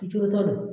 Bi duuru ta don